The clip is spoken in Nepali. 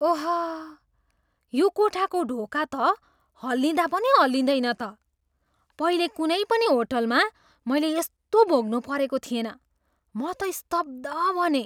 ओह, यो कोठाको ढोका त हल्लिँदा पनि हल्लिँदैन त, पहिले कुनै पनि होटलमा मैले यस्तो भोग्नु परेको थिएन। म त स्तब्ध बनेँ।